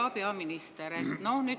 Hea peaminister!